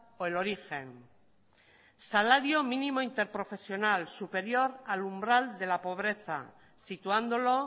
o el origen salario mínimo interprofesional superior al umbral de la pobreza situándolo